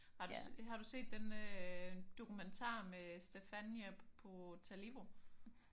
Har du set har du set den dokumentar med Stephania Potalivo?